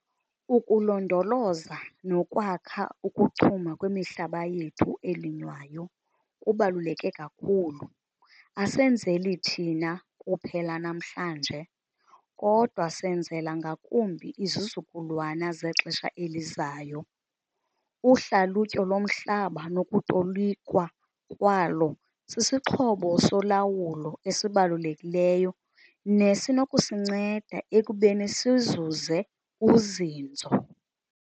Ukulondoloza nokwakha ukuchuma kwemihlaba yethu elinywayo kubaluleke kakhulu, asenzeli thina kuphela namhlanje, kodwa senzela ngakumbi izizukulwana zexesha elizayo. Uhlalutyo lomhlaba nokutolikwa kwalo sisixhobo solawulo esibalulekileyo nesinokusinceda ekubeni sizuze uzinzo.